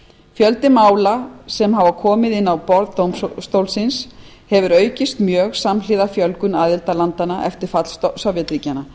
fjöldi mála sem hafa komið inn á borð dómstólsins hefur aukist mjög mikið samhliða fjölgun aðildarlanda eftir fall sovétríkjanna